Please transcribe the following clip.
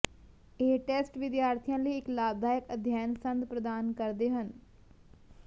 ਇਹ ਟੈਸਟ ਵਿਦਿਆਰਥੀਆਂ ਲਈ ਇੱਕ ਲਾਭਦਾਇਕ ਅਧਿਐਨ ਸੰਦ ਪ੍ਰਦਾਨ ਕਰਦੇ ਹਨ